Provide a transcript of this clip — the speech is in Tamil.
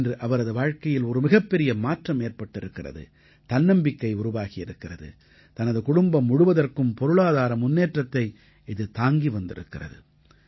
இன்று அவரது வாழ்க்கையில் ஒரு மிகப்பெரிய மாற்றம் ஏற்பட்டிருக்கிறது தன்னம்பிக்கை உருவாகியிருக்கிறது தனது குடும்பம் முழுவதற்கும் பொருளாதார முன்னேற்றத்தை இது தாங்கி வந்திருக்கிறது